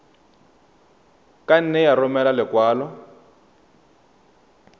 ka nne ya romela lekwalo